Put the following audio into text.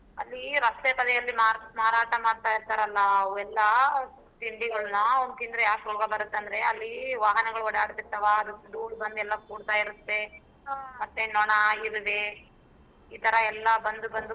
ಅಲ್ಲಿ ರಸ್ತೆ ಬದಿಯಲ್ಲಿ ಮಾರಾಟಾ ಮಾಡ್ತ ಇರ್ತಾರಲ್ಲಾ ಅವೆಲ್ಲಾ ತಿಂಡಿಗಳನ್ನಾ ತಿಂದ್ರೆ ಯಾಕ್ ರೋಗ ಬರುತ್ತಂದ್ರೆ. ಅಲ್ಲಿ ವಾಹನಗಳು ಓಡಾಡ್ತಿರ್ತಾವ ಅದ್ರ್ ದೂಳ್ ಬಂದ್ ಎಲ್ಲಾ ಕೂಡ್ತಾ ಇರತ್ತೆ ಮತ್ತೆ ನೊಣ ಇರ್ವೆ ಈತರಾ ಎಲ್ಲಾ ಬಂದ್ ಬಂದ್.